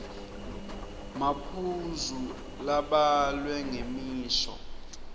maphuzu labhalwe ngemisho